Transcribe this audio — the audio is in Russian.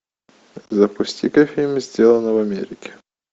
запусти ка фильм сделано в америке